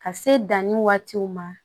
Ka se danni waatiw ma